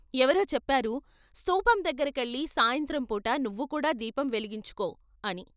ఎవరో చెప్పారు స్తూపం దగ్గర కెళ్ళి సాయంత్రం పూట నువ్వు కూడా దీపం వెలిగించుకో ' అని.